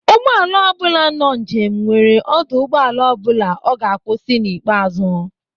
Ụgbọala ọ bula nọ njem nwere ọdụ ụgbọala ọ bụla ọ ga-akwụsị n'ikpeazụ.